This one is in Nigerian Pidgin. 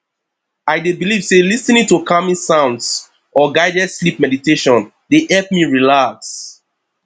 i dey believe say lis ten ing to calming sounds or guided sleep meditation dey help me relax